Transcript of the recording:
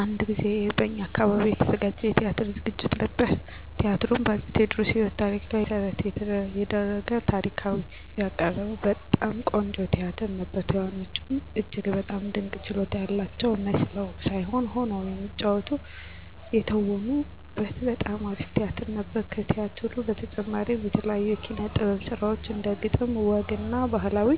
አንድ ጊዜ በእኛ አካባቢ የተዘጋጀ የቲያትር ዝግጅት ነበር። ቲያትሩ በ አፄ ቴዎድሮስ የህይወት ታሪክ ላይ መሰረት የደረገ ታሪካዊ ሁነቶችን በቀልድ አዋዝቶ ያቀረበ በጣም ቆንጆ ቲያትር ነበር። ተዋናዮቹ እጅግ በጣም ድንቅ ችሎታ ያላቸው መስለው ሳይሆን ሆነው የተወኑበት በጣም አሪፍ ቲያትር ነበር። ከቲያትሩ በተጨማሪም የተለያዩ የኪነ - ጥበብ ስራዎች እንደ ግጥም፣ ወግ እና ባህላዊ